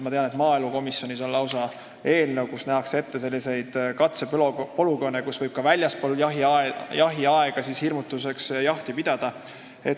Ma tean, et maaelukomisjonis on lausa eelnõu, kus nähakse ette selliseid kaitsepolügoone, kus võib ka väljaspool jahiaega hirmutamiseks jahti pidada.